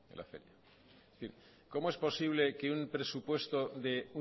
cómo es posible que un presupuesto de